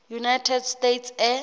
united states air